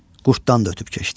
Qurddan da ötüb keçdi.